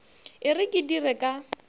e re ke dire ka